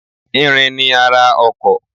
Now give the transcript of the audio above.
Irin ni ara ọkọ̀.